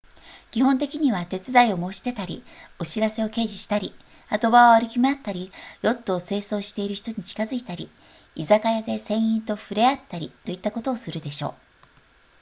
基本的には手伝いを申し出たりお知らせを掲示したり波止場を歩き回ったりヨットを清掃している人に近づいたり居酒屋で船員と触れ合ったりといったことをするでしょう